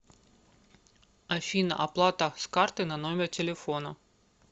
афина оплата с карты на номер телефона